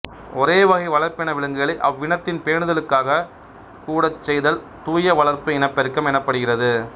ஒரேவகை வளர்ப்பின விலங்குகளை அவ்வினத்தின் பேணுதலுக்காக கூடச்செய்தல் தூய வளர்ப்பு இனப்பெருக்கம் எனப்படுகிறது